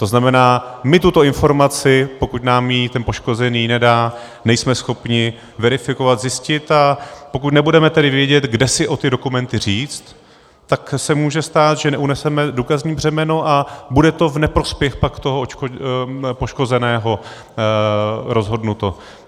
To znamená, my tuto informaci, pokud nám ji ten poškozený nedá, nejsme schopni verifikovat, zjistit, a pokud nebudeme tedy vědět, kde si o ty dokumenty říct, tak se může stát, že neuneseme důkazní břemeno a bude to v neprospěch pak toho poškozeného rozhodnuto.